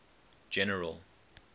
general